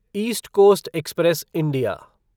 east Coast Express India